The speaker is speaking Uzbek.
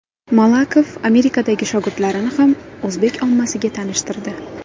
Malakov Amerikadagi shogirdlarini ham o‘zbek ommasiga tanishtirdi.